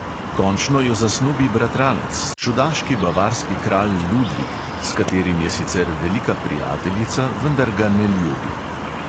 Končno jo zasnubi bratranec, čudaški bavarski kralj ludvik, s katerim je sicer velika prijateljica, vendar ga ne ljubi.